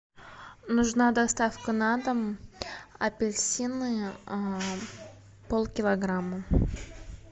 нужна доставка на дом апельсины полкилограмма